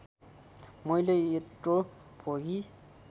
मैले यत्रो भोगी